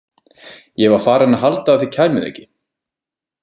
Ég var farin að halda að þið kæmuð ekki